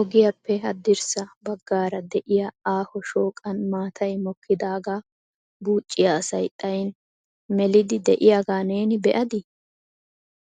Ogiyappe haddirssa baggaara de'iyaa aaho shooqan maatay mokkidaaga buucciya asay xayin meliidi de'iyaaga neeni be'adi?